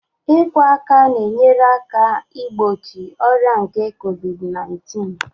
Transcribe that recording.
Ikwọ aka na-enyere aka igbochi ọrịa nke Covid naintịn